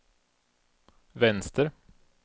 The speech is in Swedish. vänster